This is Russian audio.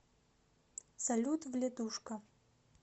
салют вледушка